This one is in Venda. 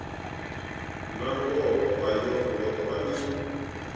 nangoho a yongo ṱwa i